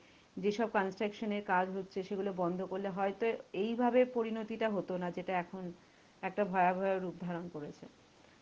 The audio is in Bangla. যেসব construction এর কাজ হচ্ছে সেগুলো বন্ধ করলে হয়তো এইভাবে পরিণতিটা হতো না। যেটা এখন একটা ভয়াবহ রূপ ধারণ করেছে।